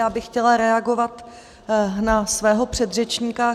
Já bych chtěla reagovat na svého předřečníka.